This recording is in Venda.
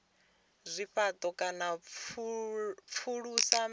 zwifhato kana u pfulusa mithara